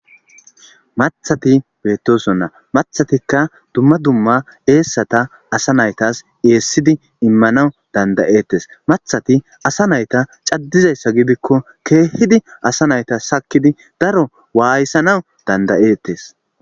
Mathati beettosonna mathatikka dumma dumma eessata asa naytas eessidi immanaw dandayettes mathati asa nayta caddizayssa gidikko keehidi asa nayta sakkidi daro waayissanaw dandayettes.